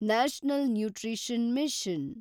national nutrition mission